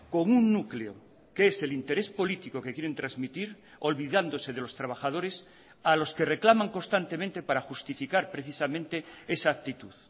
con un núcleo que es el interés político que quieren transmitir olvidándose de los trabajadores a los que reclaman constantemente para justificar precisamente esa actitud